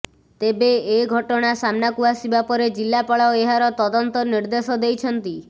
ତେବେ ଏ ଘଟଣା ସାମ୍ନାକୁ ଆସିବା ପରେ ଜିଲ୍ଲାପାଳ ଏହାର ତଦନ୍ତ ନିର୍ଦ୍ଦେଶ ଦେଇଛନ୍ତି